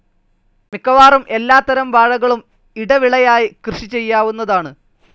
മിക്കവാറും എല്ലാത്തരം വാഴകളും ഇടവിളയായി കൃഷിചെയ്യാവുന്നതാണ്‌.